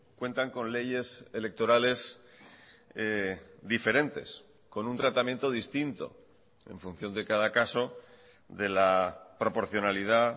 cuentan con leyes electorales diferentes con un tratamiento distinto en función de cada caso de la proporcionalidad